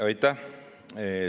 Aitäh!